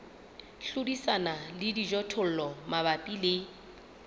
hlodisana le dijothollo mabapi le